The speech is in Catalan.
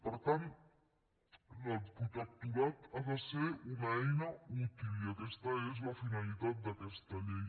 per tant el protectorat ha de ser una eina útil i aquesta és la finalitat d’aquesta llei